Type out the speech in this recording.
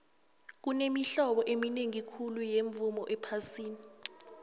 kunemihlobo eminingi khulu yemivumo ephasini